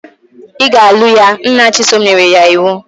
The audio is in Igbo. Ị ga-alụ ya! Nna Chisom nyere ya iwu.